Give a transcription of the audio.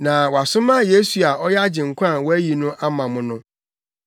na wasoma Yesu a ɔyɛ Agyenkwa a wɔayi no ama mo no.